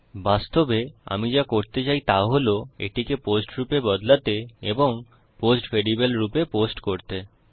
বাস্তবে আমি যা করতে চাই তা হল এটিকে পোস্ট রূপে বদলাতে এবং পোস্ট ভ্যারিয়েবল রূপে পোস্ট করতে